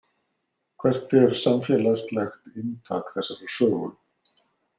Hvert er samfélagslegt inntak þessarar sögu?